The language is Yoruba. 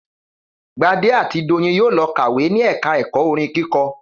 Gbadé àti Doyin yóò lọ kàwé ni ẹ̀ka ẹ̀kọ́ orin kíkọ